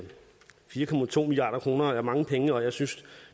fire milliard kroner er mange penge og jeg synes